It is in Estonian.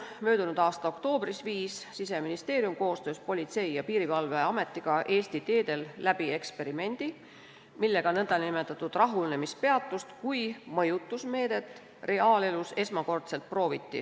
Möödunud aasta oktoobris korraldas Siseministeerium koostöös Politsei- ja Piirivalveametiga Eesti teedel eksperimendi, millega nn rahunemispeatust kui mõjutusmeedet reaalelus esmakordselt prooviti.